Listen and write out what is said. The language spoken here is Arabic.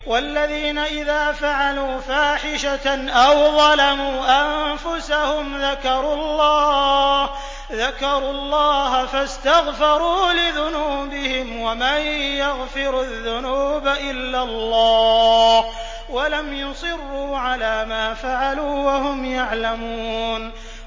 وَالَّذِينَ إِذَا فَعَلُوا فَاحِشَةً أَوْ ظَلَمُوا أَنفُسَهُمْ ذَكَرُوا اللَّهَ فَاسْتَغْفَرُوا لِذُنُوبِهِمْ وَمَن يَغْفِرُ الذُّنُوبَ إِلَّا اللَّهُ وَلَمْ يُصِرُّوا عَلَىٰ مَا فَعَلُوا وَهُمْ يَعْلَمُونَ